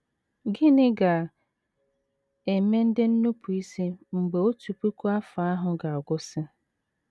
Gịnị ga - eme ndị nnupụisi mgbe otu puku afọ ahụ ga - agwụsị?